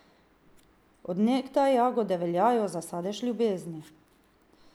Od nekdaj jagode veljajo za sadež ljubezni.